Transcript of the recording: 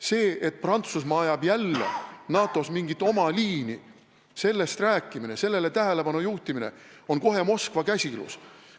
Sellest rääkimine ja sellele tähelepanu juhtimine, et Prantsusmaa ajab NATO-s jälle mingit oma liini, tähendavat kohe Moskva käsilane olemist!